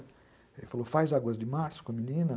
Ele falou, faz Águas de Março com a menina?